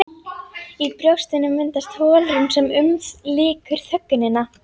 Í brjóstinu myndast holrúm sem umlykur þögnina.